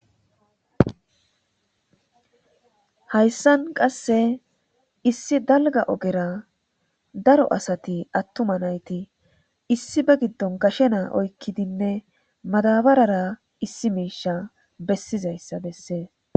hayssan qasse issi dalga ogera daro asati attuma nayti issi ba giddon gashe naa oykkidinne madabarara issi miisha bessizayssa bessee